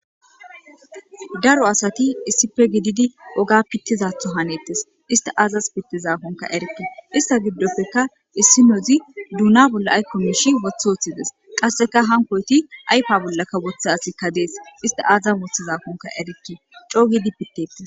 daro asati issipe gididi oga pittizatho hanettes ista aazas pittizaakonka erikke ista giddopfeka issinozi duuna bolla aykko miishi wotha woththides qasseka hankoyti aypa bollaka woththe asikka dees ista aazas mothizaakonka erikke cogidi pittettes